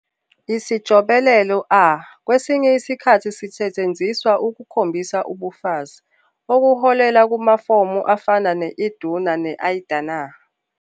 Isijobelelo -a kwesinye isikhathi sisetshenziswa ukukhombisa ubufazi, okuholela kumafomu afana ne- Iduna ne- Idunna.